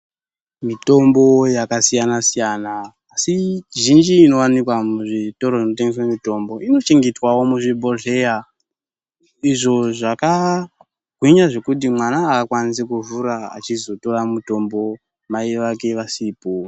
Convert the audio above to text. Mitombo yakasiyana siyana asi zhinji inowanikwa muzvitoro zvinotengese mitombo inochengetwawo muzvibhohleya izvo zvakagwinya zvekuti mwana akwanisi kuzovhura azizotora mutombo mai vake vasipo.